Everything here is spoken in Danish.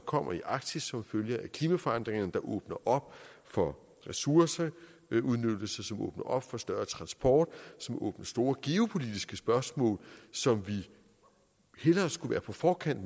kommer i arktis som følge af klimaforandringerne åbner op for ressourceudnyttelse som åbner op for større transport som åbner store geopolitiske spørgsmål som vi hellere skulle være på forkant